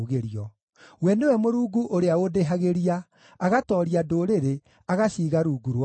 We nĩwe Mũrungu ũrĩa ũndĩhagĩria, agatooria ndũrĩrĩ, agaciiga rungu rwakwa,